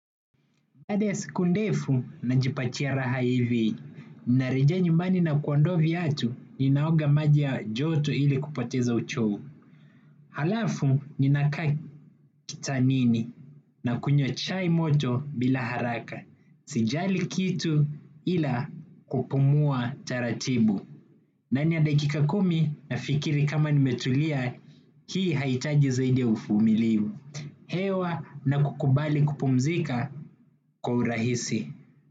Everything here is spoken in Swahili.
Baada ya siku ndefu najipatia raha hivi, narejea nyumbani na kuondoa viatu ninaoga maji ya joto ili kupoteza uchovu. Alafu ninakaa kitanini nakunywa chai moto bila haraka sijali kitu ila kupumua taratibu. Ndani ya dakika kumi nafikiri kama nimetulia hii hahitaji zaidi ya uvumilivu. Hewa na kukubali kupumzika kwa urahisi.